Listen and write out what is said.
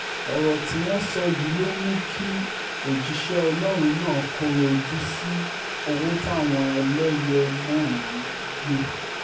ọ̀rọ̀ tí wọ́n sọ yìí ló mú kí òjíṣẹ́ ọlọ́run náà kọ́rọ̀ ojú sí owó táwọn eléyé náà ń gbé